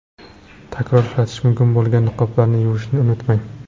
Takror ishlatish mumkin bo‘lgan niqoblarni yuvishni unutmang!